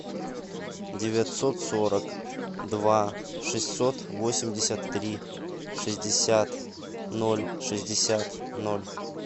девятьсот сорок два шестьсот восемьдесят три шестьдесят ноль шестьдесят ноль